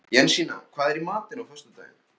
Jensína, hvað er í matinn á föstudaginn?